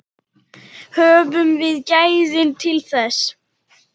Höfum við gæðin til þess?